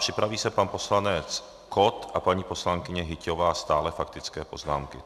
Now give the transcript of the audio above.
Připraví se pan poslanec Kott a paní poslankyně Hyťhová, stále faktické poznámky.